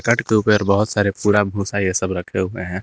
बहोत सारे पूरा भूसा ये सब रखे हुए है।